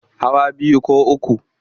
Hawa biyu ko uku.